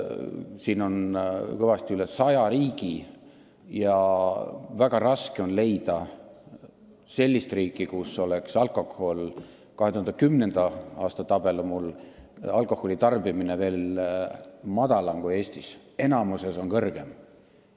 Siin on kõvasti üle 100 riigi – 2010. aasta tabel on mul ees – ja väga raske on leida sellist riiki, kus oleks alkoholi tarbimine väiksem kui Eestis, enamikus on suurem.